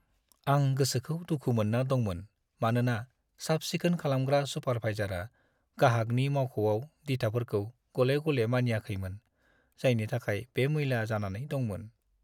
आं गोसोखौ दुखु मोनना दंमोन मानोना साफ-सिखोन खालामग्रा सुपारभाइजारआ गाहागनि मावख'आव दिथाफोरखौ गले-गले मानियाखैमोन, जायनि थाखाय बे मैला जानानै दंमोन।